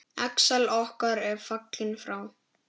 Axel okkar er fallinn frá.